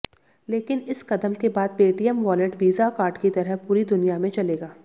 लेकिन इस कदम के बाद पेटीएम वॉलेट वीजा कार्ड की तरह पूरी दुनिया में चलेगा